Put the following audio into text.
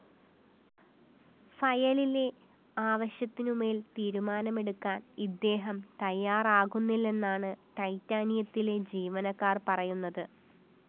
ഫയലിലെ ആവശ്യത്തിനുമേല്‍ തീരുമാനമെടുക്കാന്‍ ഇദ്ദേഹം തയ്യാറാകുന്നില്ലെന്നാണ് ടൈറ്റാനിയത്തിലെ ജീവനക്കാര്‍ പറയുന്നത്